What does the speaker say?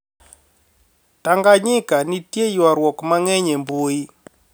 Tanganyika, nitie ywaruok mang'eny e mbui